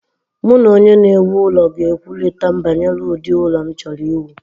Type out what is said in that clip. Mụ na onye na-ewu ụlọ ga-ekwurịta banyere ụdị ụlọ m chọrọ iwu.